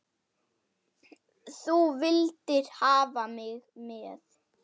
Þú vildir hafa mig með.